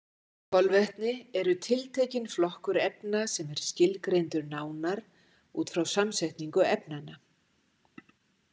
Kolvetni eru tiltekinn flokkur efna sem er skilgreindur nánar út frá samsetningu efnanna.